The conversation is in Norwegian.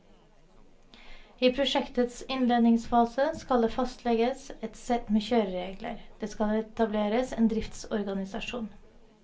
I prosjektets innledningsfase skal det fastlegges et sett med kjøreregler, det skal etableres en driftsorganisasjon.